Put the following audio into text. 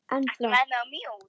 En flott!